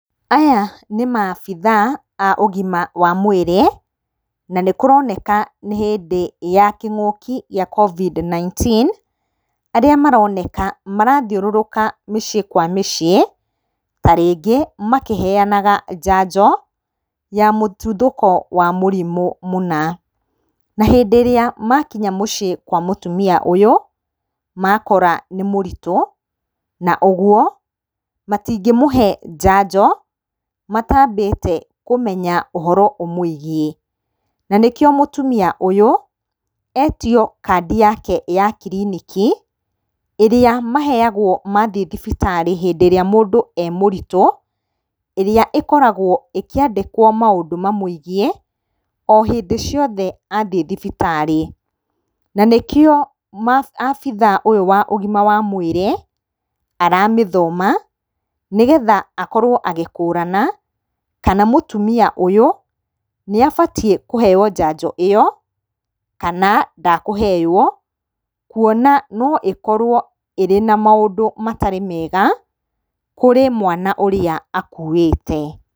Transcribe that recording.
Aya nĩ maabitha a ũgima wa wĩrĩ, na nĩ kũroneka nĩ hĩndĩ ya kĩng'ũkĩ gĩa Covid-19, arĩa maroneka marathiũrũrũka mĩciĩ kwa mĩciĩ, ta rĩngĩ makĩheanaga njanjo ya mũtuthũko wa mũrimũ mũna. Na hĩndĩ ĩrĩa makinya mũciĩ kwa mũtumia ũyũ, makora nĩ mũritũ, na ũguo matingĩmũhe njanjo, matambĩte kũmenya ũhoro ũmũĩgiĩ, na nĩ kĩo mũtumia ũyũ, etio kandi yake ya kiriniki, ĩrĩa maheagwo mathiĩ thibitarĩ hindĩ ĩrĩa mũndũ e mũritũ, ĩrĩa ĩkoragwo ĩkĩandĩkwo maũndũ mamũĩgiĩ o hindĩ ciothe athiĩ thibitarĩ, na nĩ kĩo abithaa ũyũ wa ũgima wa mwĩrĩ, aramĩthoma nĩ getha akorwo agĩkũrana kana mũtumia ũyũ, nĩ abatiĩ kũheyo njanjo ĩyo, kana ndekũheywo kuona no ĩkorwo ĩrĩ na maũndũ matarĩ mega kũrĩ mwana ũrĩa akuĩte.